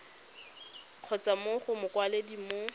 kgotsa mo go mokwaledi mo